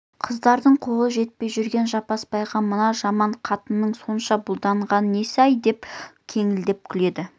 қыздардың қолы жетпей жүрген жаппасбайға мына жаман қатынның сонша бұлданғаны несі-ай деп кеңкілдеп күледі